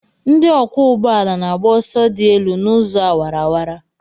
Ndị ọkwọ ụgbọala na-agba ọsọ dị elu n'ụzọ awara awara.